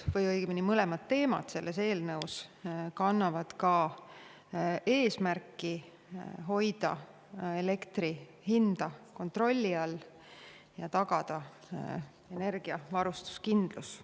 Mõlemad teemad selles eelnõus kannavad ka eesmärki hoida elektri hinda kontrolli all ja tagada energiavarustuskindlus.